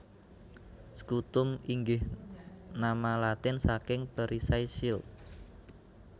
Scutum inggih nama Latin saking Perisai shield